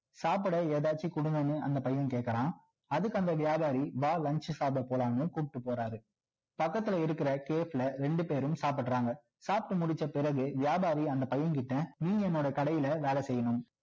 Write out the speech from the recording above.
சாப்பிட ஏதாவது கொடுங்கன்னு அந்த பையன் கேட்குறான் அதுக்கு அந்த வியாபாரி வா lunch சாப்பிட போலாம்ணு கூப்பிடுட்டு போறாரு பக்கத்துல இருக்கிற cafe ல இரண்டு பேரும் சாப்பிட்டு முடிச்ச பிறகு வியாபாரி அந்த பையன் கிட்ட நீ என்னோட கடையில் வெலை செய்யணும்